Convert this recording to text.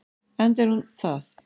Enda er hún það.